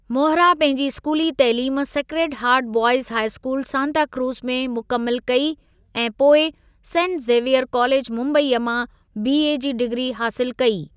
मोहरा पंहिंजी स्कूली तइलीम sacred heart boys high school Santacruz में मुकमिलु कई ऐं पोए में सेंट ज़ीवीइर कालेजु मुम्बई मां बीए जी डिग्री हासिलु कई।